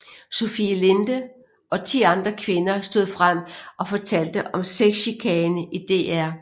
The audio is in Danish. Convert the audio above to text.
Sofie Linde og ti andre kvinder stod frem og fortalte om sexchikane i DR